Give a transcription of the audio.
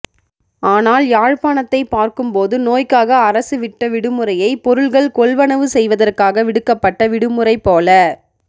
ஆனால் யாழ்ப்பாணத்தை பார்க்கும்போது நோய்க்காக அரசு விட்ட விடுமுறையை பொருள்கள் கொள்வனவு செய்வதற்காக விடுக்கப்பட்ட விடுமுறைபோல